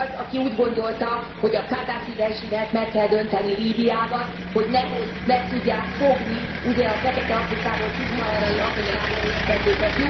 Ki az, aki úgy gondolta, hogy a Kadhafi rezsimet meg kell dönteni Líbiában, hogy nehogy meg tudják fogni ugye a fekete Afrikából, szubszaharai Afrikából érkezőket.